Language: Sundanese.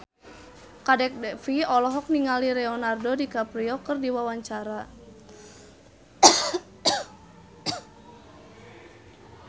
Kadek Devi olohok ningali Leonardo DiCaprio keur diwawancara